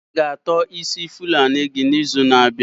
I-ga ató isi ndi na achị nama gị n'izu na-abịa?